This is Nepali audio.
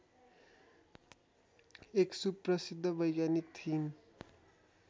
एक सुप्रसिद्ध वैज्ञानिक थिइन्